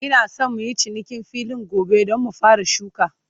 Ina San muyi cinikin filin gobe, Dan mu fara shuka